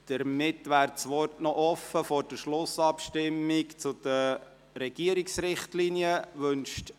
Damit wäre das Wort vor der Schlussabstimmung zu den Regierungsrichtlinien noch offen.